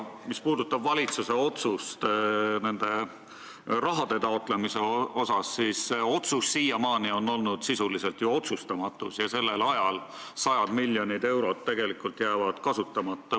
Mis puudutab valitsuse otsust selle raha taotlemise kohta, siis otsus on siiamaani olnud ju sisuliselt otsustamatus ja sajad miljonid eurod jäävad kasutamata.